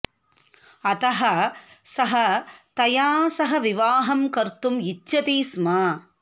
अतः सः तया सह विवाहं कर्तुम् इच्छति स्म